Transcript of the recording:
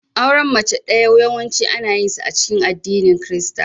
Auren mace ɗaya yawanci ana yinsa a cikin addinin Kirista.